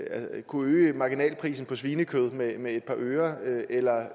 at kunne øge marginalprisen på svinekød med et par øre eller